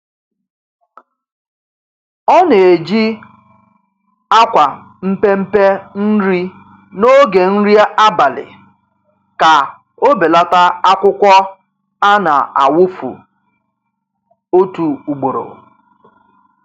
Ọ na-eji akwa mpempe nri n'oge nri abali ka ọ belata akwukwọ a na-awụfu otu ugboro